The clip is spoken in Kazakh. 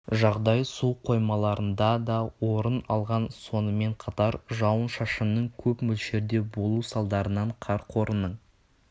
жағдай су қоймаларында да орын алған сонымен қатар жауын-шашынның көп мөлшерде болу салдарынан кар қорының